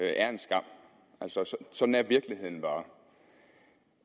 er en skam sådan er virkeligheden bare